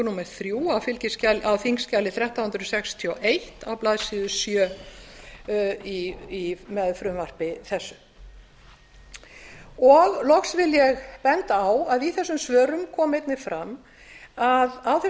númer þrjú á þingskjali þrettán hundruð sextíu og eitt á blaðsíðu sjö með frumvarpi þessu loks vil ég benda á að í þessum svörum kom einnig fram að á